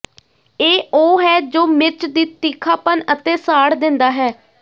ਇਹ ਉਹ ਹੈ ਜੋ ਮਿਰਚ ਦੀ ਤਿੱਖਾਪਨ ਅਤੇ ਸਾੜ ਦਿੰਦਾ ਹੈ